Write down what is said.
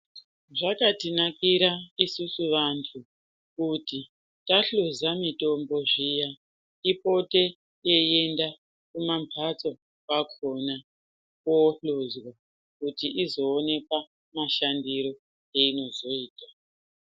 Zvakatinakira isusu vantu kuti tahluza mitombo zviya ipote yeienda kumambatso kwakona koohluzwa kuti izooneka mashandiro einozoita.